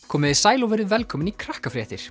komiði sæl og verið velkomin í